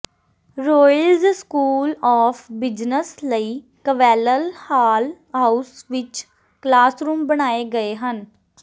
Royals school of business ਲਈ ਕਵੈਲਲ hall house ਵਿਚ ਕਲਾਸਰੂਮ ਬਣਾਏ ਗਏ ਹਨ